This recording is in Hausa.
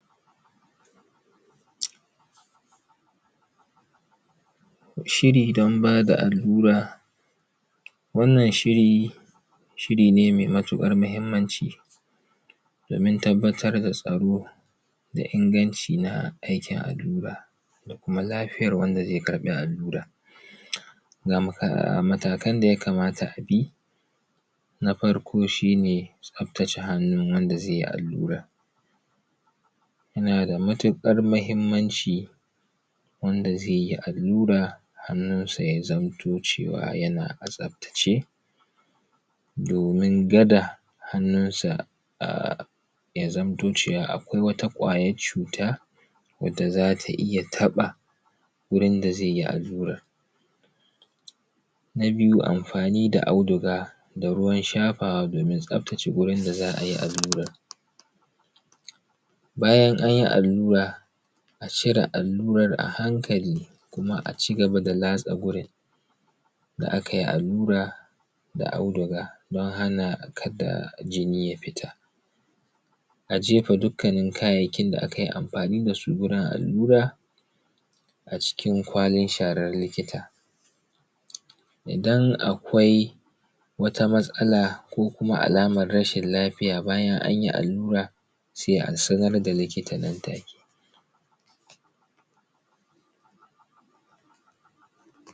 shiri dan bada allura wannan shiri shiri ne mai matukar mahimmanci domin tabbatar da tsaro da inganci na aikin allura da kuma lafiyar wanda zai karbi allura ga maka matakan da yakamata abi na farko shine tsaftace hannun wanda zaiyi allurar yana da matukar mahimmanci wanda zai allura hannunsa yaka cewa yana a tsafta ce domin kada hannunsa um ya zanto cewa akwai wata kwayar cuta wadda zata iya taba wurin da zaiyi allurar na biyu amfani da auduga da ruwan shafawa domin tsaftace wurin da zaiyi alluran bayan anyi allura a cire allurar a hankali kuma a cigaba da latsa gurin da’akayi allura da auduga dan hana kada jini ya fita a jefa dukkanin kayayyakin da akayi amfani dasu gurin allura acikin akwalin sharar likita idan akwai wata matsala ko kuma alamar rashin lafiya bayan anyi allura sai a sanar da likita nan take